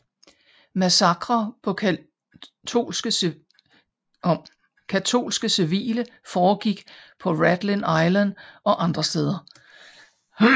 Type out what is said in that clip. Massakrer på katolske civile foregik på Rathlin Island og andre steder